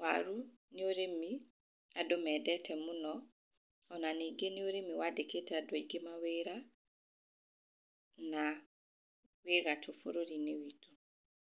Waru nĩ ũrĩmi andũ mendete mũno, ona ningĩ nĩ ũrĩmi wandĩkĩte andũ aingĩ mawĩra, na wĩ gatũ bũrũri-inĩ witũ.